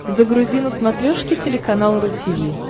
загрузи на смотрешке телеканал ру ти ви